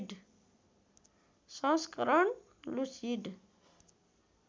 संस्करण लुसिड